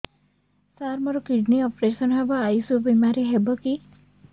ସାର ମୋର kidney operation ହେବ ଆୟୁଷ ବିମାରେ ହେବ କି